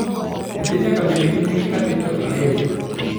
nyathi nayak abed gi nginge katin to ariyo